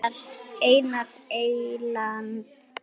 Einar Eyland.